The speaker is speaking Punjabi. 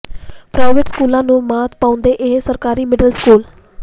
ਪ੍ਰਾਈਵੇਟ ਸਕੂਲਾਂ ਨੂੰ ਮਾਤ ਪਾਉਂਦਾ ਇਹ ਸਰਕਾਰੀ ਮਿਡਲ ਸਕੂਲ